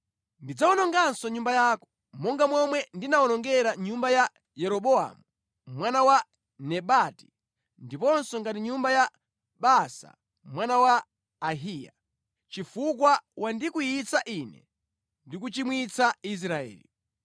Ndidzawononga nyumba yako monga momwe ndinawonongera nyumba ya Yeroboamu mwana wa Nebati ndiponso ngati nyumba ya Baasa mwana wa Ahiya, chifukwa wandikwiyitsa Ine ndi kuchimwitsa Israeli.’